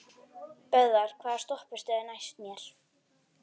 Böðvar, hvaða stoppistöð er næst mér?